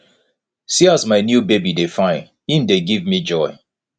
see as my new baby dey fine im dey give me joy